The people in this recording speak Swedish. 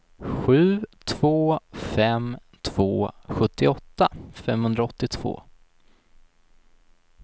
sju två fem två sjuttioåtta femhundraåttiotvå